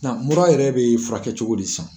maura yɛrɛ bɛ furakɛ cogo de sisan.